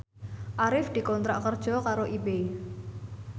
Arif dikontrak kerja karo Ebay